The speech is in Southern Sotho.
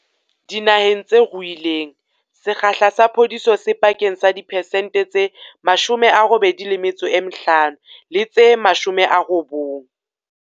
Dinaheng tse ruileng, sekgahla sa phodiso se pakeng tsa diphesente tse 85 le tse 90.